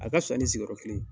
A ka pisa ni sigiyɔrɔ kelen ye.